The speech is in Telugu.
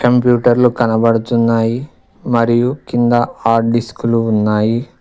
కంప్యూటర్లు కనబడుచున్నాయి మరియు కింద హార్డ్ డిస్క్లు ఉన్నాయి.